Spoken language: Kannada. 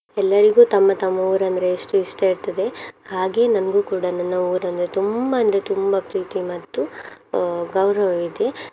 ಎಲ್ಲರಿಗೂ ತಮ್ಮ ತಮ್ಮ ಊರಂದ್ರೆ ಎಷ್ಟು ಇಷ್ಟ ಇರ್ತದೆ ಹಾಗೆ ನಂಗೂ ಕೂಡ ನನ್ನ ಊರಂದ್ರೆ ತುಂಬಾ ಅಂದ್ರೆ ತುಂಬಾ ಪ್ರೀತಿ ಮತ್ತು ಅಹ್ ಗೌರವ ಇದೆ.